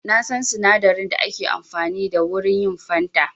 Na san sinadarin da ake amfani da wurin yin fanta.